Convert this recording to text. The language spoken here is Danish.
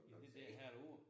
I det der halv år